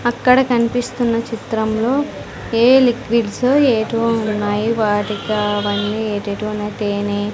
అక్కడ కనిపిస్తున్న చిత్రంలో ఏ లిక్విడ్స్ ఏటివో ఉన్నాయి వాటికావన్నీ ఏటేటివో ఉన్నాయి తేనె --